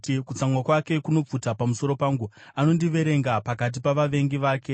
Kutsamwa kwake kunopfuta pamusoro pangu; anondiverenga pakati pavavengi vake.